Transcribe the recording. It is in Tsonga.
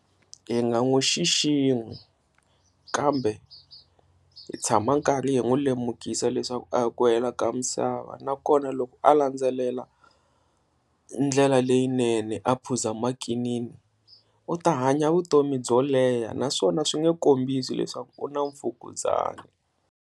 Hi nga n'wi xiximi kambe hi tshama karhi hi n'wi lemukisa leswaku a hi ku hela ka misava, nakona loko a landzelela ndlela leyinene a phuza makinini u ta hanya vutomi byo leha naswona swi nge kombisa leswaku u na mfukuzana.